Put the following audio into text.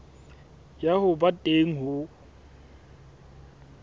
ya ho ba teng ho